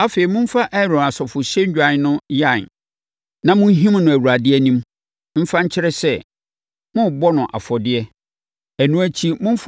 Afei, momfa Aaron asɔfohyɛdwan no yan na monhim no Awurade anim, mfa nkyerɛ sɛ, morebɔ no afɔdeɛ; ɛno akyi momfa